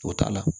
O t'a la